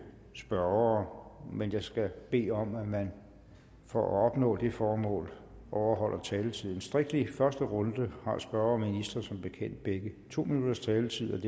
spørgere men jeg skal bede om at man for at opnå det formål overholder taletiden strikt i første runde har spørger og minister som bekendt begge to minutters taletid